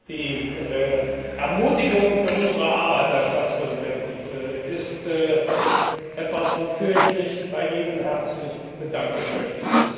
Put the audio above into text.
Die Ermutigung für unsere Arbeit, Herr Staatspräsident, ist etwas, wofür ich mich bei Ihnen herzlich bedanken möchte.